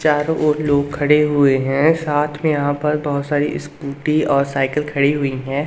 चारों ओर लोग खड़े हुए हैं साथ में यहां पर बहुत सारी स्कूटी और साइकिल खड़ी हुई हैं।